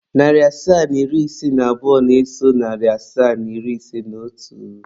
Narị asaa na iri ise na abụọ na-eso narị asaa na iri ise na otu.